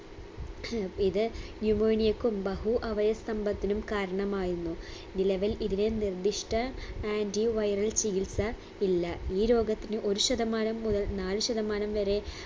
ഇത് pneumonia ക്കും ബഹു അവയസ്തംഭത്തിനും കാരണമായെന്നും നിലവിൽ ഇതിന് നിർദിഷ്ട anti viral ചികിത്സ ഇല്ല ഈ രോഗത്തിന് ഒരു ശതമാനം മുതൽ നാല് ശതമാനം വരെ